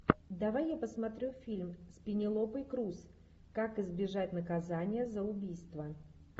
давай я посмотрю фильм с пенелопой крус как избежать наказания за убийство